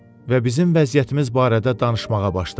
Və bizim vəziyyətimiz barədə danışmağa başladı.